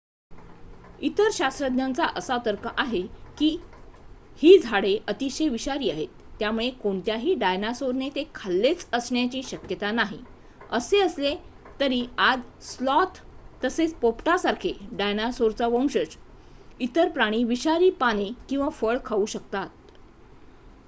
इतर शास्त्रज्ञांचा असा तर्क आहे की ही झाडे अतिशय विषारी आहेत त्यामुळे कोणत्याही डायनासोरने ते खाल्लेच असण्याची शक्यता नाही असे असले तरी आज स्लॉथ तसेच पोपटासारखे डायनासोरचा वंशज इतर प्राणी विषारी पाने किंवा फळ खाऊ शकतात